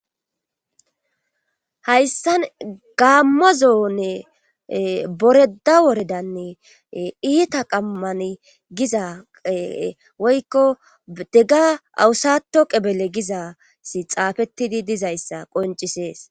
hayssan gaammo zoone ee boredda woredani ee iita qammani giza woykko dega awusatto qebele gizassi xaafettidi dizayssa qonccises.